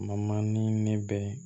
ni ne bɛ